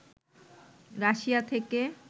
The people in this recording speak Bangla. রাশিয়া থেকে